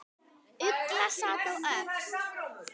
Ugla sat á öxl.